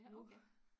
nu